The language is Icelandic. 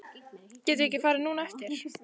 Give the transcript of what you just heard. Getum við ekki farið núna á eftir?